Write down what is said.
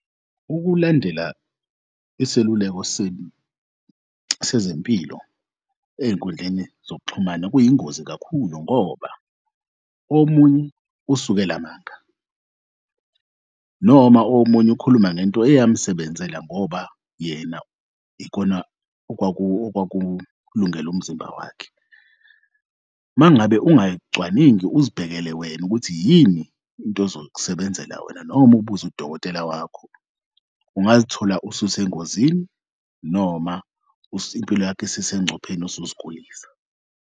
Ukulandela iseluleko sezempilo ey'nkundleni zokuxhumana kuyingozi kakhulu ngoba omunye usukela manga noma omunye ukhuluma ngento eyamsebenzela ngoba yena ikona okwakulungele umzimba wakhe. Mangabe ungayicwaningi uzibhekele wena ukuthi yini into ezokusebenzela wena noma ubuze udokotela wakho ungazithola ususengozini noma impilo yakho isisengcupheni usuzigulisa.